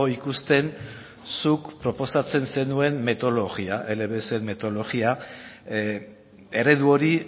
ikusten zuk proposatzen zenuen metodologia eredu hori